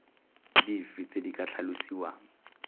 dife tse di ka tlhalosiwang